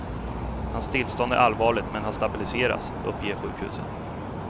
Hans tillstånd är allvarligt men har stabiliserats, uppger sjukhuset.